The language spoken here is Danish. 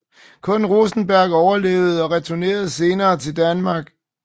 Kun Rosenberg overlevede og returnerede senere til Danmark